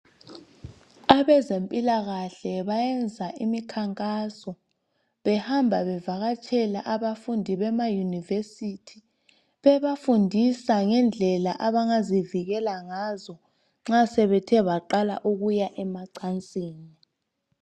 Abezempilakahle bayenza imikhankaso behamba bevakatshela abafundi bema University bebafundisa ngendlela abangazivikela ngazo nxa sebethe baqala ukuya emacansini.